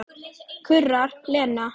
kurrar Lena.